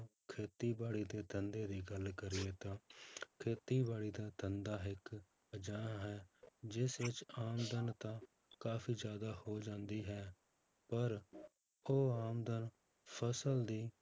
ਖੇਤੀਬਾੜੀ ਦੇ ਧੰਦੇ ਦੀ ਗੱਲ ਕਰੀਏ ਤਾਂ ਖੇਤੀਬਾੜੀ ਦੇ ਧੰਦਾ ਇੱਕ ਅਜਿਹਾ ਹੈ ਜਿਸ ਵਿੱਚ ਆਮਦਨ ਤਾਂ ਕਾਫ਼ੀ ਜ਼ਿਆਦਾ ਹੋ ਜਾਂਦੀ ਹੈ ਪਰ ਉਹ ਆਮਦਨ ਫਸਲ ਦੀ